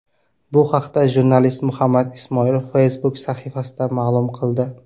Bu haqda jurnalist Muhammad Ismoil Facebook sahifasida ma’lum qildi .